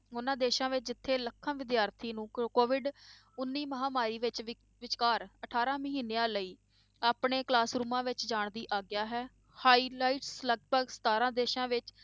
ਉਹਨਾਂ ਦੇਸਾਂ ਵਿੱਚ ਜਿੱਥੇ ਲੱਖਾਂ ਵਿਦਿਆਰਥੀਆਂ ਨੂੰ COVID ਉੱਨੀ ਮਹਾਂਮਾਰੀ ਵਿੱਚ ਵਿ~ ਵਿਚਕਾਰ ਅਠਾਰਾਂ ਮਹੀਨਿਆਂ ਲਈ ਆਪਣੇ classrooms ਵਿੱਚ ਜਾਣ ਦੀ ਆਗਿਆ ਹੈ highlight ਲਗਪਗ ਸਤਾਰਾਂ ਦੇਸਾਂ ਵਿੱਚ,